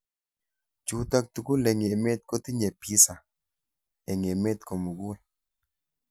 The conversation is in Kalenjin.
Chutok tugul eng emet kotinye PISA eng emet komukul.